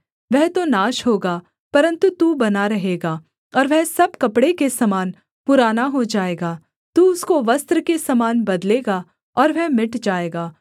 वह तो नाश होगा परन्तु तू बना रहेगा और वह सब कपड़े के समान पुराना हो जाएगा तू उसको वस्त्र के समान बदलेगा और वह मिट जाएगा